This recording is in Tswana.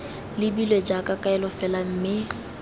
lebilwe jaaka kaelo fela mme